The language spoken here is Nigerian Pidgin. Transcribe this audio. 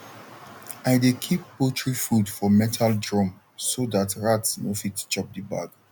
i dey keep poultry food for metal drum so dat rat no fit chop the bag